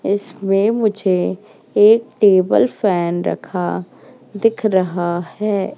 इसमें मुझे एक टेबल फैन रखा दिख रहा है।